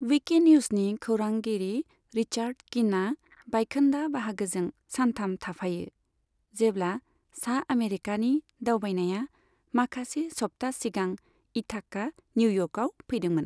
Wiki निउजनि खौरांगिरि Richard किनआ बायखोन्दा बाहागोजों सानथाम थाफायो, जेब्ला सा आमेरिकानि दावबायनाया माखासे सप्ता सिगां इथाका, निउ इयर्कआव फैदोंमोन।